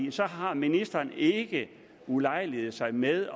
har ministeren ikke ulejliget sig med